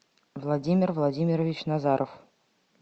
владимир владимирович назаров